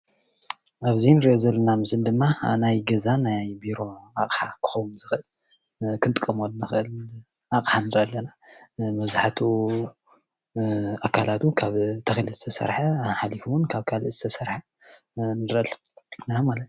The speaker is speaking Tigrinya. ኣብዚ ንሪኦ ዘለና ምስሊ ድማ ናይ ገዛን ናይ ቢሮ ኣቕሓ ክኸውን ዝኽእል ክንጥቀመሉ ንኽእል ኣቕሓ ንሪኢ ኣለና፡፡ መብዛሕትኡ ኣካላቱ ካብ ተኽሊ ዝተሰርሐ ሓሊፉ ውን ካብ ካልእ ዝተሰርሐ ንሪአ ኣለና ማለት እዩ፡፡